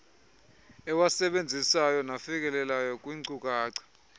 ewasebenzisayo nafikelelayo kwiinkcukacha